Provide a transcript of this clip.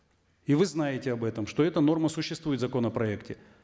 и вы знаете об этом что эта норма существует в законопроекте